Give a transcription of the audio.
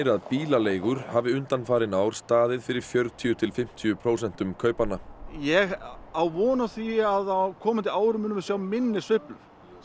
að bílaleigur hafi undanfarin ár staðið fyrir fjörutíu til fimmtíu prósentum kaupanna ég á von á því að á komandi árum munum við sjá minni sveiflur